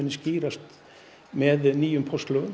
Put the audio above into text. skýrast með nýjum